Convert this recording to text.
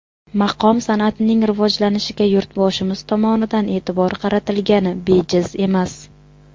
Maqom san’atining rivojlanishiga Yurtboshimiz tomonidan e’tibor qaratilgani bejiz emas.